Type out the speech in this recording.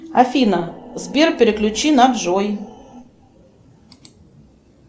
афина сбер переключи на джой